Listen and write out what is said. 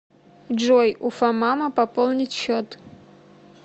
джой уфамама пополнить счет